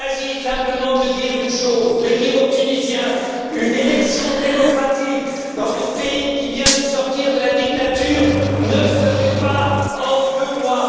Il s'agit simplement de dire une chose, de dire aux Tunisiens qu'une élection démocratique dans un pays qui vient de sortir de la dictature ne se fait pas en deux mois.